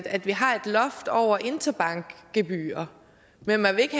at vi har et loft over interbankgebyrer men at man ikke